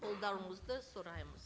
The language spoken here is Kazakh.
қолдауыңызды сұраймыз